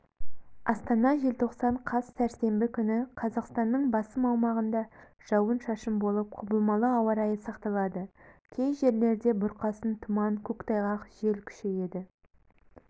астана желтоқсан қаз сәрсенбі күні қазақстанның басым аумағында жауын-шашын болып құбылмалы ауа райы сақталады кей жерлерде бұрқасын тұман көктайғақ жел күшейеді